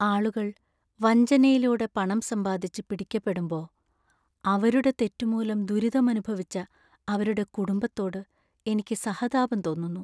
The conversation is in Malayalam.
ആളുകൾ വഞ്ചനയിലൂടെ പണം സമ്പാദിച്ച് പിടിക്കപ്പെടുമ്പോ, അവരുടെ തെറ്റു മൂലം ദുരിതമനുഭവിച്ച അവരുടെ കുടുംബത്തോട് എനിക്ക് സഹതാപം തോന്നുന്നു.